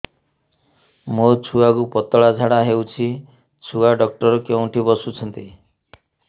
ମୋ ଛୁଆକୁ ପତଳା ଝାଡ଼ା ହେଉଛି ଛୁଆ ଡକ୍ଟର କେଉଁଠି ବସୁଛନ୍ତି